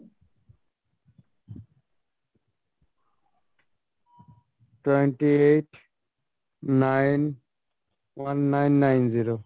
twenty eight nine one nine nine zero